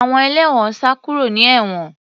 Àwọn ẹlẹ́wọ̀n sá kúrò ní ewon